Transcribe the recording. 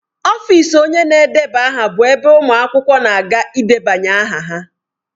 Ọfịs onye na-edeba aha bụ ebe ụmụ akwụkwọ na-aga ịdebanye aha.